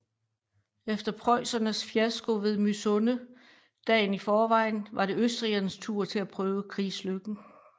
Efter preussernes fiasko ved Mysunde dagen i forvejen var det østrigernes tur til at prøve krigslykken